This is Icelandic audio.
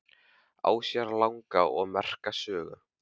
Á sér langa og merka sögu.